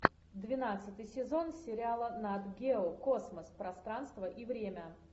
двенадцатый сезон сериала нат гео космос пространство и время